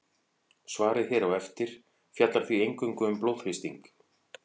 Svarið hér á eftir fjallar því eingöngu um blóðþrýsting.